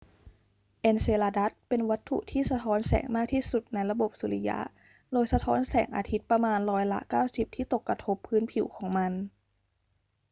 เอนเซลาดัสเป็นวัตถุที่สะท้อนแสงมากที่สุดในระบบสุริยะโดยสะท้อนแสงอาทิตย์ประมาณร้อยละ 90 ที่ตกกระทบพื้นผิวของมัน